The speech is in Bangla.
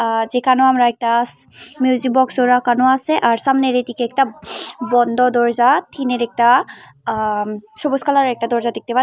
আঃ যেখানে আমরা একটা মিউজিক বক্সও রাখানো আছে আর সামনের এদিকে একটা বন্ধ দরজা থিনের একটা আঃ উম সবুজ কালারের একটা দরজা দেখতে পা--